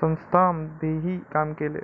संस्थांमध्येही काम केले.